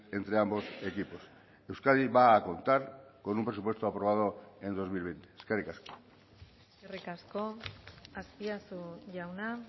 entre ambos equipos euskadi va a contar con un presupuesto aprobado en dos mil veinte eskerrik asko eskerrik asko azpiazu jauna